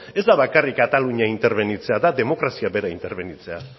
ez da bakarrik katalunia interbenitzea da demokrazia bera interbenitzea